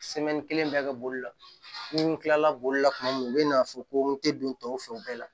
kelen bɛɛ ka bolila ni n kilala boli la tuma min u bɛ na fɔ ko n tɛ don tɔw fɛ o bɛɛ la